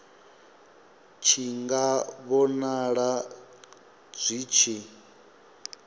tshi nga vhonala zwi tshi